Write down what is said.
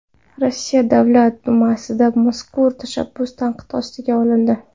Rossiya Davlat dumasida mazkur tashabbus tanqid ostiga olindi.